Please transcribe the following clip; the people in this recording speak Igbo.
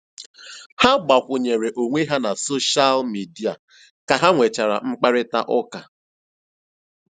Ha gbàkwùnyèrè onwé ha na sóshal mìdia kà ha nwechàra mkpáịrịtà ụ́ka.